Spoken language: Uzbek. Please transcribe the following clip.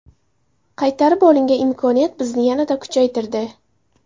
Qaytarib olingan imkoniyat bizni yanada kuchaytirdi.